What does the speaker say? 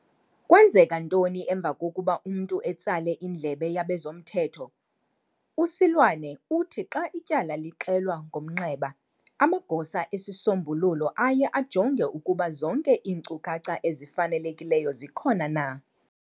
Kwenzeka ntoni emva kokuba umntu etsale indlebe yabezomthetho? USeloane uthi xa ityala lixelwa ngomnxeba, amagosa esisombululo aye ajonge ukuba zonke iinkcukacha ezifanelekileyo zikhona na.